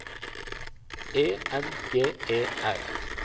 E N G E R